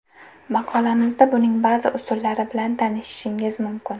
Maqolamizda buning ba’zi usullari bilan tanishishingiz mumkin.